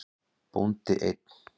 Bóndi einn.